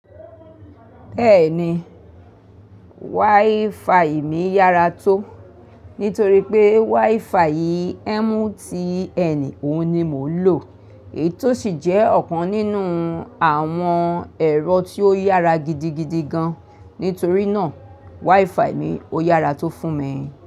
Bẹ́ẹ̀ni, wifi mi yára tó, nítorí pé wifi MTN òun ni mò ń lò, èyí tó sì jẹ́ ọ̀kan nínú àwọn ẹ̀rọ tí ó yára gidigidi gan. Nítorí náà, wifi mi ó yára tó fún mi.